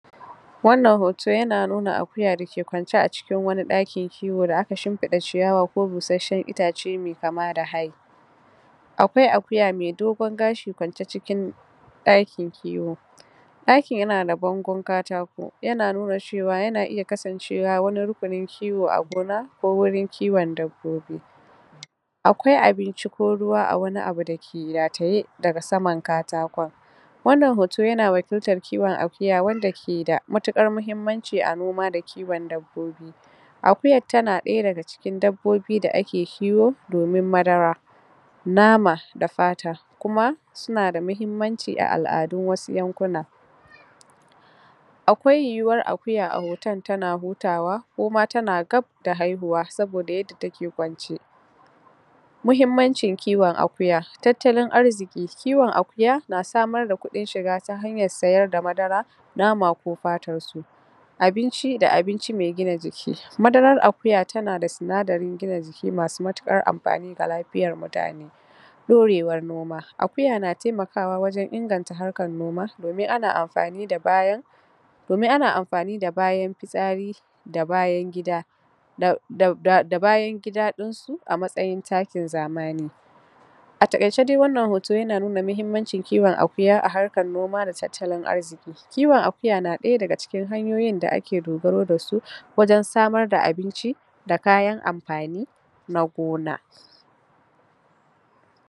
Wannan hoto yana nuna akuya dake kwance a cikin wani ɗakin kiwo da aka shinfiɗa ciyawa ko busasshen itace mai kamada hai, akwai akuya mai dogon gashi kwance cikin daƙin kiwo. Ɗakin yana da bangon katako yana nuna cewa yana iya kasancewa wani rukunin kiwo a gona ko wurin kiwon dabbobi. Akwai abinci ko ruwa a wani abu dake rataye daga saman katakon. Wannan hoto yana wakiltar kiwon akuya wanda keda matuƙar mahimmanci a noma da kiwon dabbobi. akuyar tana daya daga cikin dabbobi da ake kiwo domin madara, nama da fata, kuma sunada muhimmanci a al'adun wasu yankuna. Akwai yiwuwar akuya a hoton tana hutawa koma tana gab da haihuwa saboda yadda take kwance. Muhimmancin kiwon akuya; tattalin arziƙi, kiwon akuya na samar da ƙudin shiga ta hanyar sayar da madara, nama ko fatar su. Abinci da abinci mai gina jiki; madarar akuya tana da sinadarin gina jiki masu matuƙar ampani ga lafiyar mutane. Ɗorewar noma; akuya na taimakawa wajan inganta harkar noma domin ana amfani da bayan domin ana amfani da bayan pitsari da bayan gida da da da bayan gida ɗinsu a matsayin taakin zamani. A taƙaice dai wannan hoto yana nuna muhimmancin kiwon akuya a harkar noma da tattalin arziki, kiwon akuya na ɗaya daga cikin hanyoyin da ake dogaro dasu wajan samar da abinci da kayan ampani na gona.